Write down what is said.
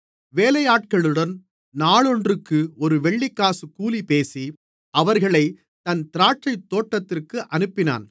வேலையாட்களுடன் நாளொன்றுக்கு ஒரு வெள்ளிக்காசு கூலிபேசி அவர்களைத் தன் திராட்சைத்தோட்டத்திற்கு அனுப்பினான்